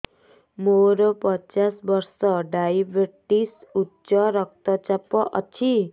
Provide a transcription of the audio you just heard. ମୋର ପଚାଶ ବର୍ଷ ଡାଏବେଟିସ ଉଚ୍ଚ ରକ୍ତ ଚାପ ଅଛି